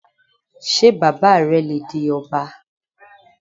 Ṣé bàbá rẹ le di ọba?